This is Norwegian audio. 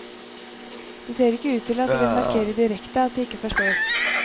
Det ser ikke ut til at de vil markere direkte at de ikke forstår.